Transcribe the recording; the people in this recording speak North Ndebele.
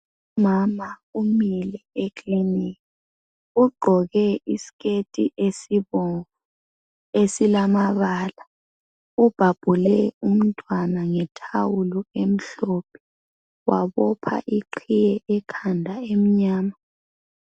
Umama umile ekilinika, ugqoke isiketi esibomvu esilamabala. Ubhabhule umntwana ngethawulo emhlophe wabopha iqhiye ekhanda emnyama.